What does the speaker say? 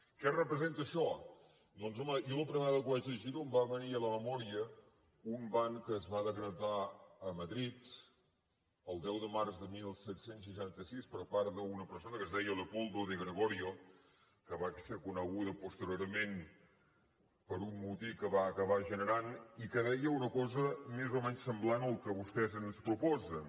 què representa això doncs home jo la primera vegada que vaig llegir ho em va venir a la memòria un ban que es va decretar a madrid el deu de març de disset seixanta sis per part d’una persona que es deia leopoldo de gregorio que va ser conegut posteriorment per un motí que va acabar generant i que deia una cosa més o menys semblant al que vostès ens proposen